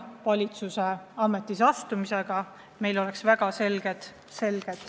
See ajaline piir oleks väga selge.